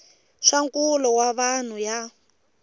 swa nkulo wa vanhu ya